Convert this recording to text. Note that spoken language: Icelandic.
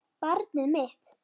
Barnið mitt.